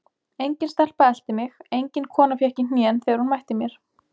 Engin stelpa elti mig, engin kona fékk í hnén þegar hún mætti mér.